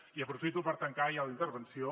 i aprofito per tancar ja la intervenció